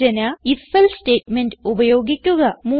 സൂചന ifഎൽസെ സ്റ്റേറ്റ്മെന്റ് ഉപയോഗിക്കുക